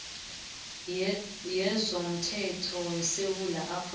yezomthetho yesewula afrika